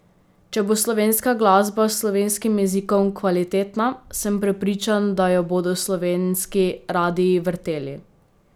Če bo slovenska glasba s slovenskim jezikom kvalitetna, sem prepričan, da jo bodo slovenski radii vrteli.